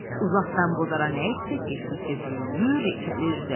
Uzaqdan bozara nə etsək getdikcə böyüyür, ikəlirdi.